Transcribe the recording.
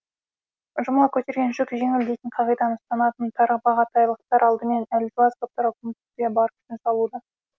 жұмыла көтерген жүк жеңіл дейтін қағиданы ұстанатын тарбағатайлықтар алдымен әлжуаз топтарға көмектесуге бар күшін салуда